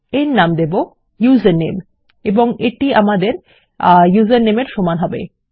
এর নাম দেব ইউজারনেম এবং এটি আমাদের username এর সমান হবে